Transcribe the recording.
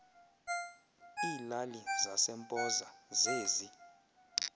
iilali zasempoza zezi